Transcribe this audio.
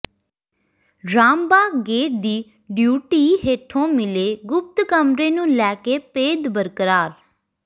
Ram Bagh gate ਦੀ ਡਿਉਢੀ ਹੇਠੋਂ ਮਿਲੇ ਗੁਪਤ ਕਮਰੇ ਨੂੰ ਲੈ ਕੇ ਭੇਦ ਬਰਕਰਾਰ